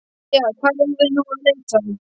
Jæja, hvar eigum við nú að leita?